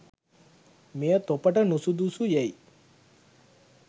මෙය තොපට නුසුදුසු යැයි